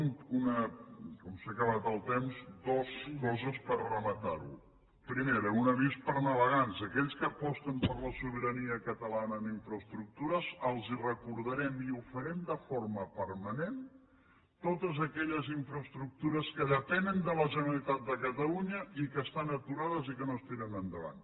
com que s’ha acabat el temps dues coses per rematar ho primera un avís per a navegants aquells que aposten per la sobirania catalana en infraestructures els recordarem i ho farem de forma permanent totes aquelles infraestructures que depenen de la generalitat de catalunya i que estan aturades i que no es tiren endavant